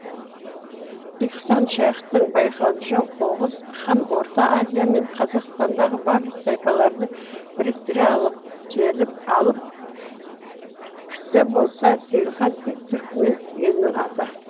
ихсан шаиқтың байқауынша оғыз хан орта азия мен қазақстандағы барлық тайпаларды біріктіе алып келіп алып кісі болса сейілхан тек түрікмен елінің аты